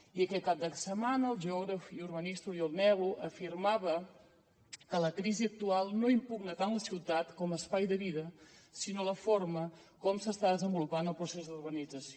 i aquest cap de setmana el geògraf i urbanista oriol nel·lo afirmava que la crisi actual no impugna tant ciutat com a espai de vida sinó la forma com s’està desenvolupant el procés d’urbanització